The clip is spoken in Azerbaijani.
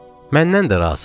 Məndən də razıdır.